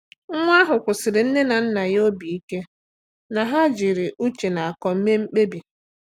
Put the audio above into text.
Nwa ahụ kwụsiri nne na nna ya obi ike na ha jiri ụche na akọ mee mkpebi.